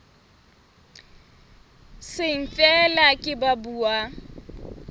seng feela ke ba buang